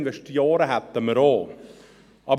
Investoren hätten wir auch.